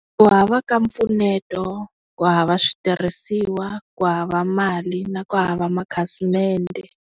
Ku hava ka mpfuneto, ku hava switirhisiwa, ku hava mali na ku hava makhasimende.